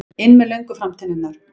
inn með löngu framtennurnar.